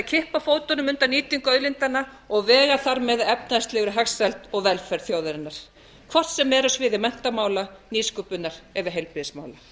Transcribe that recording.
kippa fótunum undan nýtingu auðlindanna og vega þar með að efnahagslegri hagsæld og velferð þjóðarinnar hvort sem er á sviði menntamála nýsköpunar eða heilbrigðismála